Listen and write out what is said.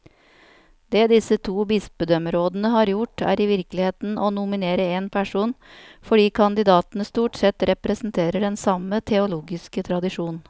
Det disse to bispedømmerådene har gjort, er i virkeligheten å nominere én person, fordi kandidatene stort sett representerer den samme teologiske tradisjon.